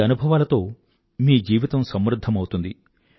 ఈ అనుభవాలతో మీ జీవితం సమృధ్ధమవుతుంది